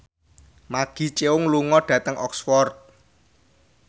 Maggie Cheung lunga dhateng Oxford